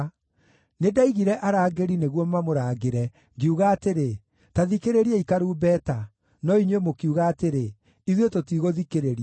Nĩndaigire arangĩri nĩguo mamũrangĩre, ngiuga atĩrĩ, ‘Ta thikĩrĩriai karumbeta!’ No inyuĩ mũkiuga atĩrĩ, ‘Ithuĩ tũtigũthikĩrĩria.’